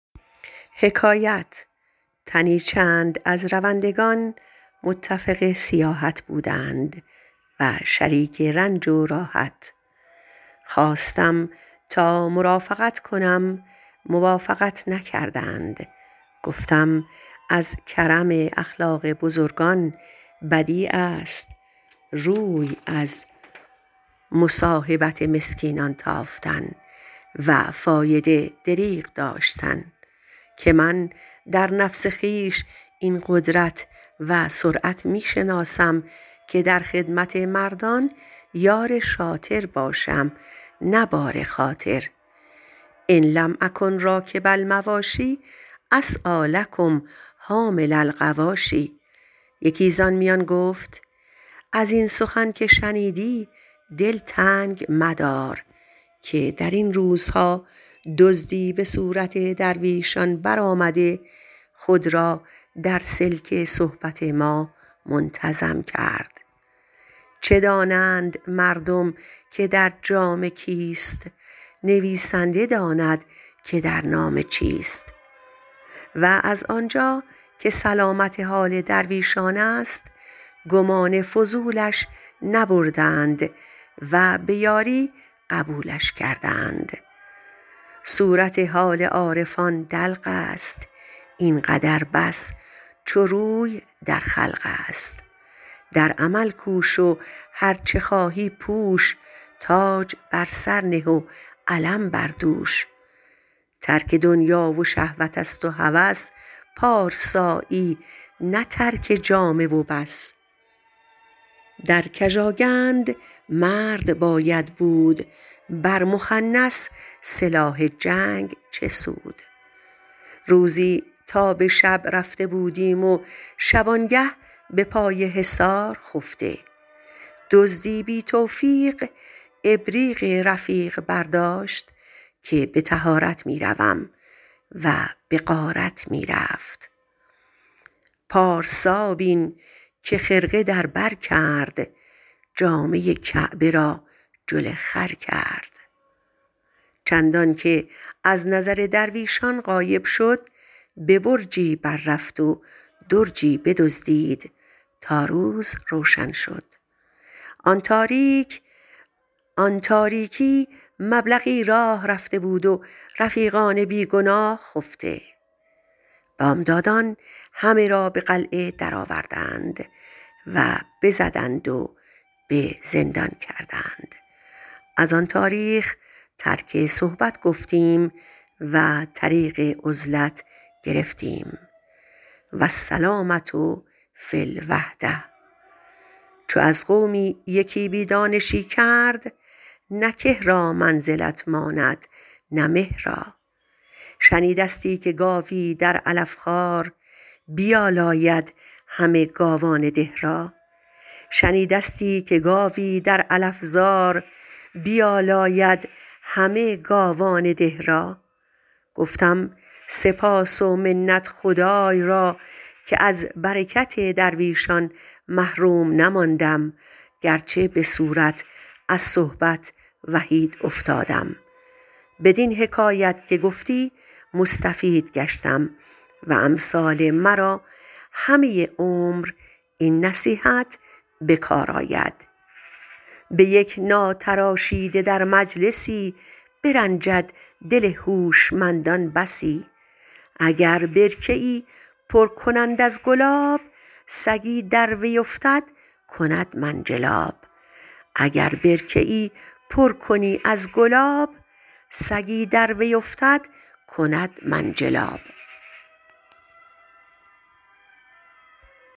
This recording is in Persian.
تنی چند از روندگان متفق سیاحت بودند و شریک رنج و راحت خواستم تا مرافقت کنم موافقت نکردند گفتم این از کرم اخلاق بزرگان بدیع است روی از مصاحبت مسکینان تافتن و فایده و برکت دریغ داشتن که من در نفس خویش این قدرت و سرعت می شناسم که در خدمت مردان یار شاطر باشم نه بار خاطر ان لم اکن راکب المواشی اسعیٰ لکم حامل الغواشی یکی زآن میان گفت از این سخن که شنیدی دل تنگ مدار که در این روزها دزدی به صورت درویشان برآمده خود را در سلک صحبت ما منتظم کرد چه دانند مردم که در خانه کیست نویسنده داند که در نامه چیست و از آنجا که سلامت حال درویشان است گمان فضولش نبردند و به یاری قبولش کردند صورت حال عارفان دلق است این قدر بس چو روی در خلق است در عمل کوش و هرچه خواهی پوش تاج بر سر نه و علم بر دوش ترک دنیا و شهوت است و هوس پارسایی نه ترک جامه و بس در قژاکند مرد باید بود بر مخنث سلاح جنگ چه سود روزی تا به شب رفته بودیم و شبانگه به پای حصار خفته که دزد بی توفیق ابریق رفیق برداشت که به طهارت می رود و به غارت می رفت پارسا بین که خرقه در بر کرد جامه کعبه را جل خر کرد چندان که از نظر درویشان غایب شد به برجی بر رفت و درجی بدزدید تا روز روشن شد آن تاریک مبلغی راه رفته بود و رفیقان بی گناه خفته بامدادان همه را به قلعه درآوردند و بزدند و به زندان کردند از آن تاریخ ترک صحبت گفتیم و طریق عزلت گرفتیم والسلامة فی الوحدة چو از قومی یکی بی دانشی کرد نه که را منزلت ماند نه مه را شنیدستی که گاوی در علف خوار بیالاید همه گاوان ده را گفتم سپاس و منت خدای را عزوجل که از برکت درویشان محروم نماندم گرچه به صورت از صحبت وحید افتادم بدین حکایت که گفتی مستفید گشتم و امثال مرا همه عمر این نصیحت به کار آید به یک ناتراشیده در مجلسی برنجد دل هوشمندان بسی اگر برکه ای پر کنند از گلاب سگی در وی افتد کند منجلاب